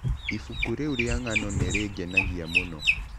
Ibuku rĩu rĩa ng'ano nĩ rĩngenagia mũno.